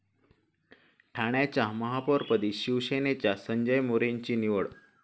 ठाण्याच्या महापौरपदी शिवसेनेच्या संजय मोरेंची निवड